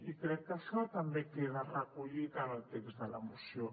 i crec que això també queda recollit en el text de la moció